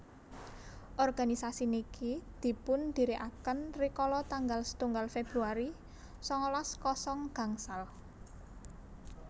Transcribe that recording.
organisasi niki dipundhirikaken rikala tanggal setunggal Februari sangalas kosong gangsal